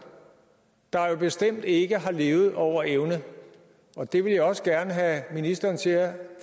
der jo bestemt ikke har levet over evne det vil jeg også gerne have ministeren til at